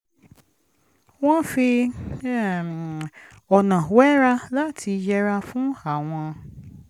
wọ́n fi um ọ̀nà wẹ́ra láti yẹra fún àwọn